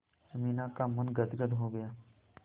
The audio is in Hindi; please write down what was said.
अमीना का मन गदगद हो गया